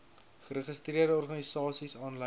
geregistreerde organisasies aanlyn